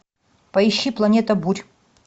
поищи планета бурь